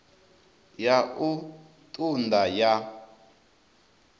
ya u ṱun ḓa ya